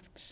eða lagafrumvarps